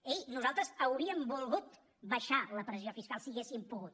ei nosaltres hauríem volgut abaixar la pressió fiscal si haguéssim pogut